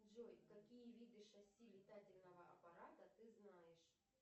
джой какие виды шасси летательного аппарата ты знаешь